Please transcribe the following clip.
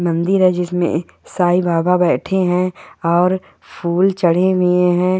मंदिर है जिसमे साई बाबा बैठे है और फूल चढ़े हुए है।